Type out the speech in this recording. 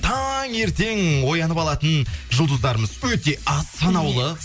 таңертең оянып алатын жұлдыздарымыз өте аз санаулы